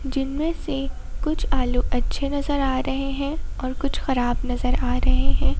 जिनमें से कुछ आलू अच्छे नजर आ रहे हैं और कुछ खराब नजर आ रहे हैं।